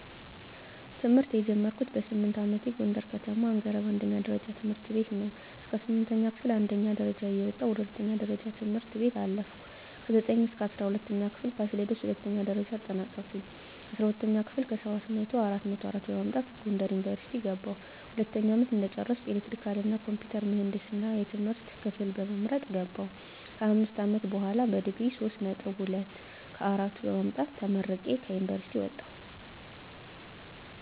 ትምህርት የጀመርኩት በስምንት አመቴ ጎንደር ከተማ አንገረብ አንደኛ ደረጃ ትምህርት ቤት ነው። እስከ ስምንተኛ ክፍል አንደኛ ደረጃ እየወጣሁ ወደ ሁለተኛ ደረጃ ትምህርት ቤት አለፍኩ። ከዘጠኝ እስከ እስራ ሁለተኛ ክፍል ፋሲለደስ ሁለተኛ ደረጃ አጠናቀኩኝ። አስራ ሁለተኛ ክፍል ከሰባት መቶው አራት መቶ አራት በማምጣት ጎንደር ዩኒቨርሲቲ ገባሁ። ሁለተኛ አመት እንደጨረስኩ ኤሌክትሪካል እና ኮምፒውተር ምህንድስና የትምህርት ክፍል በመምረጥ ገባሁ። ከአምስት አመት በሆላ በዲግሪ ሶስት ነጥብ ሁለት ከአራቱ በማምጣት ተመርቄ ከዩኒቨርሲቲ ወጣሁ።